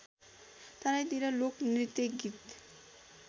तराईतिर लोकनृत्य गीत